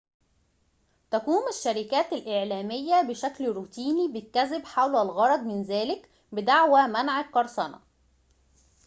تقوم الشركات الإعلامية بشكل روتيني بالكذب حول الغرض من ذلك بدعوى منع القرصنة